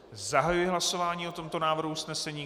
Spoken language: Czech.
Zahajuji hlasování o tomto návrhu usnesení.